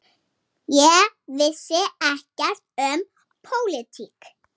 Ég vissi ekkert um pólitík.